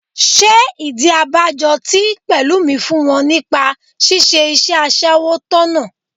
Ṣé ìdí abájọ tí Pẹ̀lúmi fún wọn nípa ṣíṣe iṣẹ́ aṣẹ́wó tọ̀nà?